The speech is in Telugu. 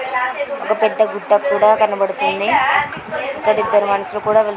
ఒక పెద్ద గుట్ట కూడా కనబడుతుంది ఇక్కడ ఇద్దరు మనుషులు కూడా వెళ్తున్నారు.